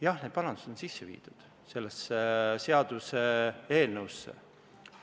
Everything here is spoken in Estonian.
Jah, need parandused on sisse viidud sellesse seaduseelnõusse.